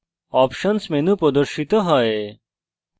options options menu প্রদর্শিত হয়